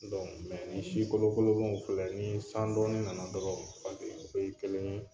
Dɔnku mɛ ni si kolokolonen in filɛ ni san dɔɔni nana dɔrɔnw u bɛɛ ye kelen ye.